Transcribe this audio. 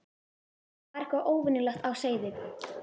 Það var eitthvað óvenjulegt á seyði.